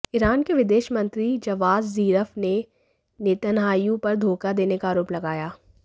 Iran के विदेश मंत्री जवाद जीरफ ने नेतन्याहू पर धोखा देने का आरोप लगाया